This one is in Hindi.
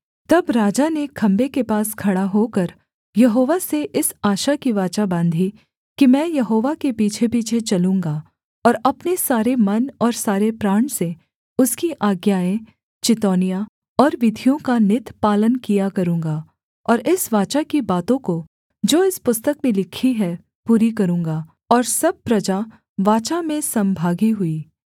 तब राजा ने खम्भे के पास खड़ा होकर यहोवा से इस आशा की वाचा बाँधी कि मैं यहोवा के पीछेपीछे चलूँगा और अपने सारे मन और सारे प्राण से उसकी आज्ञाएँ चितौनियाँ और विधियों का नित पालन किया करूँगा और इस वाचा की बातों को जो इस पुस्तक में लिखी हैं पूरी करूँगा और सब प्रजा वाचा में सम्‍भागी हुई